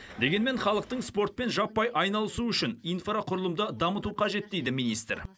дегенмен халықтың спортпен жаппай айналысуы үшін инфрақұрылымды дамыту қажет дейді министр